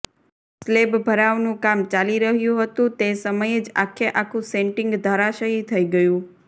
slab ભરાવનું કામ ચાલી રહ્યું હતું તે સમયે જ આખે આખું સેન્ટિંગ ધરાશાયી થઈ ગયું